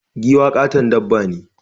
Giwa ƙaton dabba ne.